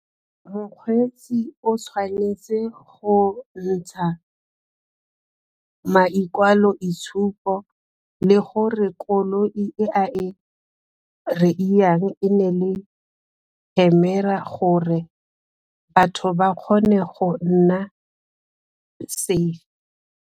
Mokgweetsi o tshwanetse go ntsha le gore koloi e a e e ne e le camera gore batho ba kgone go nna safe.